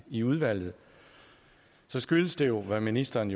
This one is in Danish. i udvalget skyldes det hvad ministeren